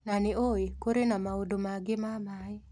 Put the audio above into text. Na nĩ ũĩ, kũrĩ na maũndũ mangĩ ma maĩ.